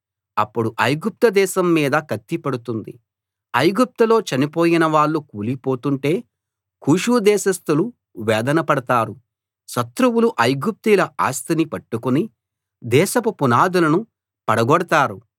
అప్పుడు ఐగుప్తు దేశం మీద కత్తి పడుతుంది ఐగుప్తులో చనిపోయిన వాళ్ళు కూలిపోతుంటే కూషు దేశస్థులు వేదన పడతారు శత్రువులు ఐగుప్తీయుల ఆస్తి ని పట్టుకుని దేశపు పునాదులను పడగొడతారు